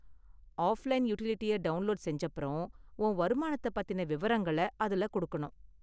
Offline யுடிலிட்டியை download செஞ்சப்பறம், உன் வருமானத்தை பத்தின விவரங்களை அதுல கொடுக்கணும்.